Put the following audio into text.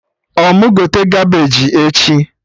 Ọ mụ gote Kabeji echi?